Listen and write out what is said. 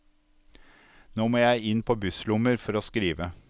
Nå må jeg inn på busslommer for å skrive.